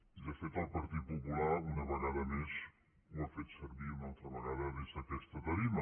i de fet el partit popular una vegada més ho ha fet servir una altra vegada des d’aquesta tarima